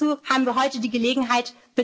einnehmen. Und hierzu haben wir heute